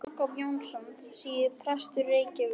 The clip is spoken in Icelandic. Jakob Jónsson, síðar prestur í Reykjavík.